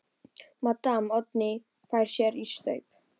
Maddama Oddný fær sér í staup.